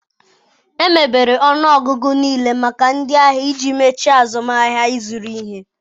Emebere ọnụọgụ nlele maka ndị ahịa iji mechaa azụmahịa ịzụrụ ihe